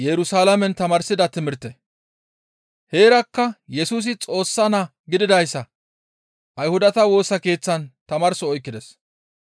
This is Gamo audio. Heerakka Yesusi Xoossa Naa gididayssa Ayhudata Woosa Keeththatan tamaarso oykkides.